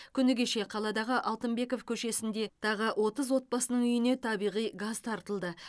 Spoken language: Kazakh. күні кеше қаладағы алтынбеков көшесінде тағы отыз отбасының үйіне табиғи газ тартылды